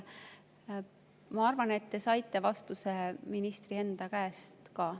Ma arvan, et te saite vastuse ministri enda käest ka.